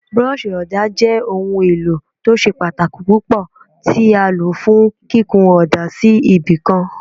Búrọ́ọ̀ṣì ọ̀dà jẹ́ ohun èlò tí ó ṣe pàtàkì púpọ̀ tí a lò fún kíkun ọ̀dà sí ibì kan.